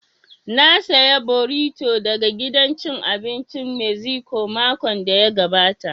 Na saya borito daga gidan cin abincin meziko makon da ya gabata